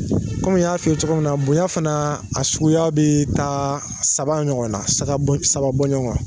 Kɔmi n y'a f'i ye cogo min na, bonya fana a suguya bɛ taa saba ɲɔgɔn na, saga saba bɔ ɲɔgɔn kɔn.